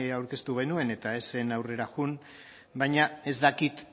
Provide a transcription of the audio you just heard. aurkeztu genuen eta ez zen aurrera joan baina ez dakit